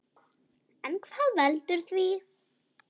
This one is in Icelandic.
En hvað veldur því?